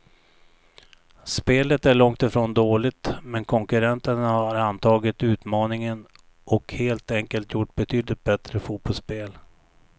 Spelet är långt ifrån dåligt, men konkurrenterna har antagit utmaningen och helt enkelt gjort betydligt bättre fotbollsspel.